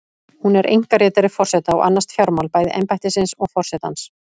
Hún er einkaritari forseta og annast fjármál, bæði embættisins og forsetans.